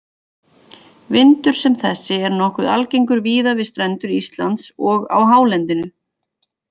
Vindur sem þessi er nokkuð algengur víða við strendur Íslands og á hálendinu.